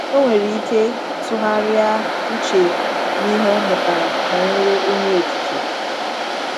Ọ nwere ike tụgharịa uche n’ihe ọ mụtara banyere Onye Okike.